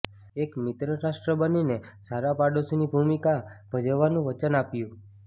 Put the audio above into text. એક મિત્રરાષ્ટ્ર બનીને સારા પડોશીની ભૂમિકા ભજવવાનું વચન આપ્યું